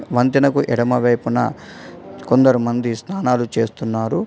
వంతెనకు ఎడమవైపున కొందరు మంది స్నానాలు చేస్తున్నారు.